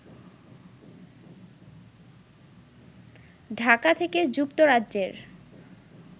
ঢাকা থেকে যুক্তরাজ্যের